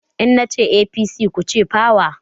In na ce APC, ku ce "power"